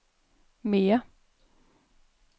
mere